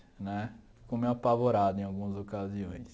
Né fico meio apavorado em algumas ocasiões.